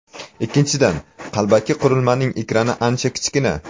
Ikkinchidan, qalbaki qurilmaning ekrani ancha kichkina.